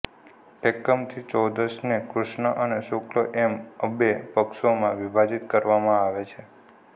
એકમથી ચૌદશને ક્રુષ્ણ અને શુક્લ એમ્ અબે પક્ષોમાં વિભાજિત કરવામાં આવે છે